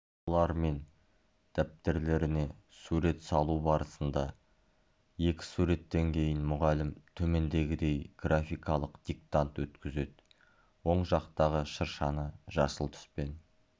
балалармен дәптерлеріне сурет салу барысында екі суреттен кейін мұғалім төмендегідей графикалық диктант өткізеді оң жақтағы шыршаны жасыл түспен